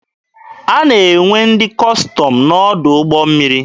A na-enwe ndị Kọstọm n'ọdụ ụgbọ mmiri.